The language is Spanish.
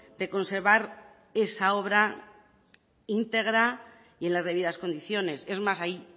de conservar esa obra integra y en las debidas condiciones es más hay